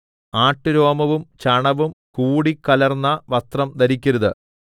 ആട്ടുരോമവും ചണവും കൂടിക്കലർന്ന വസ്ത്രം ധരിക്കരുത്